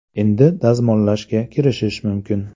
Endi dazmollashga kirishish mumkin.